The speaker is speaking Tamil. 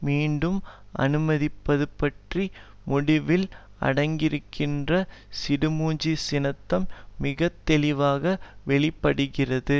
மீண்டும் அனுமதிப்பது பற்றிய முடிவில் அடங்கியிருக்கின்ற சிடுமூஞ்சித்தனம் மிக தெளிவாக வெளி படுகிறது